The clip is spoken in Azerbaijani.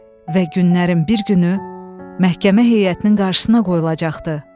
Və günlərin bir günü məhkəmə heyətinin qarşısına qoyulacaqdı.